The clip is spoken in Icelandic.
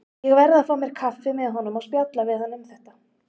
Ég verð að fá mér kaffi með honum og spjalla við hann um þetta.